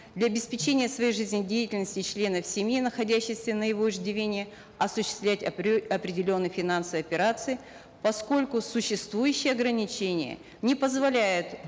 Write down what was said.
для обеспечения своей жизнедеятельности и членов семьи находящихся на его иждивении осуществлять определенные финансовые операции поскольку существующее органичение не позволяет